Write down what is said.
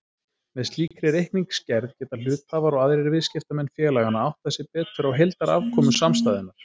Með slíkri reikningsgerð geta hluthafar og aðrir viðskiptamenn félaganna áttað sig betur á heildarafkomu samstæðunnar.